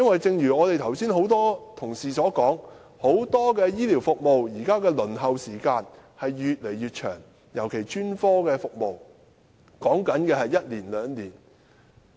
正如剛才多位同事所說，很多醫療服務現在的輪候時間也越來越長，尤其是專科服務，往往要輪候一兩年。